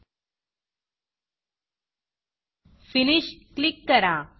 finish click करा